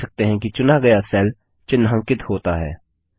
आप देख सकते हैं कि चुना गया सेल चिन्हांकित होता है